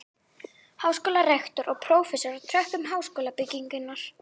Háskólarektor og prófessorar á tröppum háskólabyggingar.